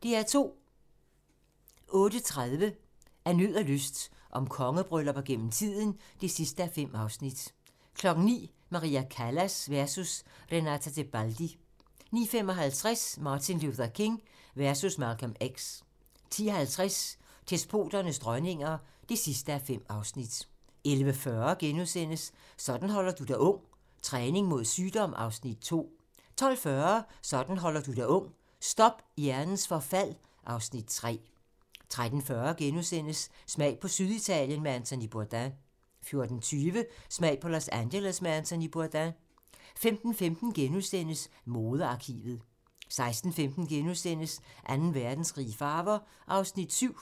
08:30: Af nød og lyst - om kongebryllupper gennem tiden (5:5) 09:00: Maria Callas versus Renata Tebaldi 09:55: Martin Luther King versus Malcolm X 10:50: Despoternes dronninger (5:5) 11:40: Sådan holder du dig ung: Træning mod sygdom (Afs. 2)* 12:40: Sådan holder du dig ung: Stop hjernens forfald (Afs. 3) 13:40: Smag på Syditalien med Anthony Bourdain * 14:20: Smag på Los Angeles med Anthony Bourdain 15:15: Modearkivet * 16:15: Anden Verdenskrig i farver (7:13)*